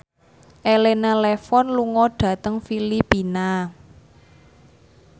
Elena Levon lunga dhateng Filipina